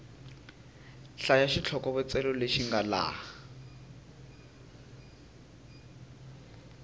hlaya xitlhokovetselo lexi nga laha